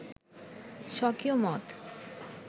স্বকীয় মত